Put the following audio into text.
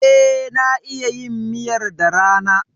E, na iya yin miyar da rana.